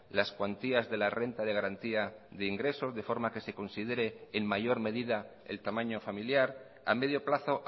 las cuantías de la renta de garantía de ingresos de forma que se considere en mayor medida el tamaño familiar a medio plazo